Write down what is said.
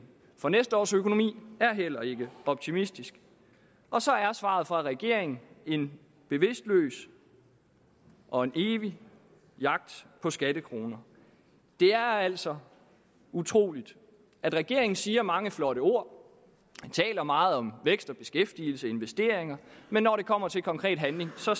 for næste års økonomi er heller ikke optimistisk og så er svaret fra regeringen en bevidstløs og evig jagt på skattekroner det er altså utroligt at regeringen siger mange flotte ord og taler meget om vækst og beskæftigelse og investeringer men når det kommer til konkret handling ser